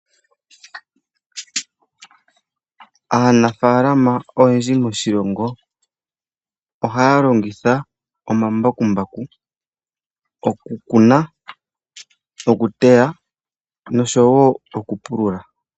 Aanafaalama oyendji moshilongo ohaya longitha omambakumbaku okukuna, okuteya noshowo okupulula.